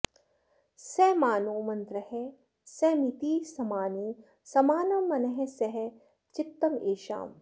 स॒मा॒नो मन्त्रः॒ समि॑तिः समा॒नी स॑मा॒नं मनः॑ स॒ह चि॒त्तमे॑षाम्